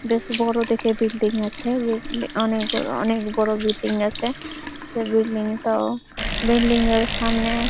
বেশ বড়ো দেখে বিল্ডিং আছে ওয়েট মে অনেক গু অনেক বড়ো বিল্ডিং আছে সে বিল্ডিং টাও বিল্ডিং এর সামনে--